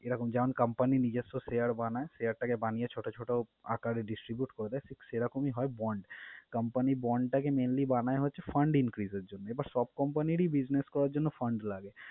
এরকম যখন company নিজস্ব share বানায়, share টাকে বানিয়ে ছোট ছোট আঁকারে distribute করে ঠিক সেরকমই হয় bond company bond টাকে mainly বানায় হচ্ছে fund increase এর জন্য। এবার সব company র ই business করার জন্য fund লাগে